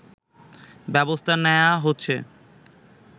ব্যবস্থা নেয়া হচ্ছে